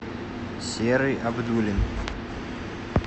серый абдуллин